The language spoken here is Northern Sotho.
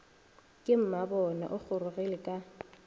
ke mmabona o gorogile ka